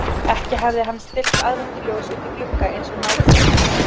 Ekki hafði hann stillt aðventuljósi út í glugga eins og nágranni hans.